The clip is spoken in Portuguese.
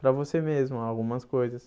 Para você mesmo algumas coisas.